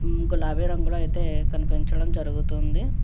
గులాబీ రంగులో అయితే కనిపించడం జరుగుతుంది.